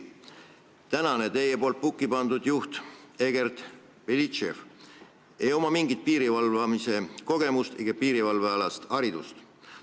Teie poolt pukki pandud juhil Egert Belitševil ei ole mingit piirivalvekogemust ega piirivalveharidust.